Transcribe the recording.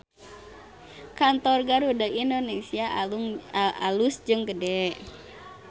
Kantor Garuda Indonesia alus jeung gede